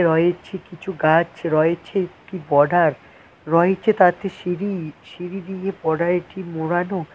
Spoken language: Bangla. রয়েছে কিছু গাছ রয়েছে একটি বর্ডার রয়েছে তাতে সিঁড়ি সিঁড়ি দিয়ে বর্ডারটি মোড়ানো।